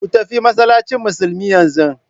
Ku tafi masallacin musulmi yanzu!